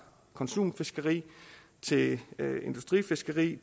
konsumfiskeri til industrifiskeri